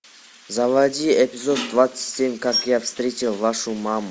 заводи эпизод двадцать семь как я встретил вашу маму